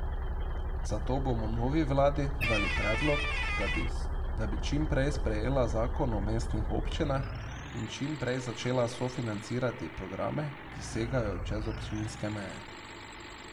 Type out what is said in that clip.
Zato bomo novi vladi dali predlog, da bi čim prej sprejela zakon o mestnih občinah in čim prej začela sofinancirati programe, ki segajo čez občinske meje.